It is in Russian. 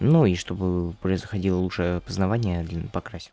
ну и чтобы происходило лучшее опознавание длину покрась